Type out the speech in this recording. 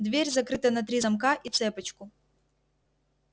дверь закрыта на три замка и цепочку